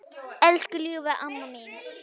Elsku ljúfa amma mín.